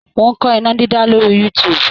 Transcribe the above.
Mò ń kọ́ iná dídá lórí youtube.